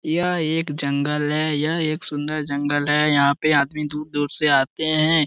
यह एक जंगल हैं यह एक सुंदर जंगल हैं। यहाँ पे आदमी दूर-दूर से आते हैं।